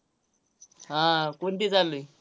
हा. कोणती चालली?